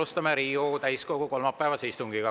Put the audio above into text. Alustame Riigikogu täiskogu kolmapäevast istungit.